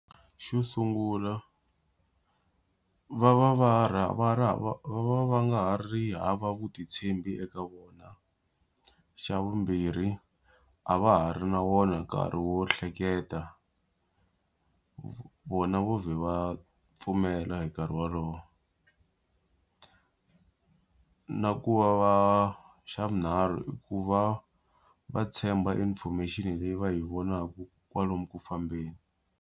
Xo sungula, va va va va ri va va va nga ha ri hava vutitshembi eka vona. Xa vumbirhi a va ha ri na wona nkarhi wo hleketa, vona vheta va pfumela hi nkarhi wolowo. na ku va va xa vunharhu i ku va va tshemba information leyi va hi vonaka kwalomu ku fambeni.